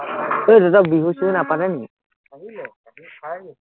এৰ তঁহতৰ বিহু-চিহু নাপাতে নেকি